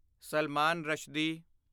Salman Rushdie